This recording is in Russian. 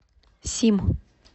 сим